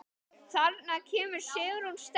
Þarna kemur Sigrún sterk inn.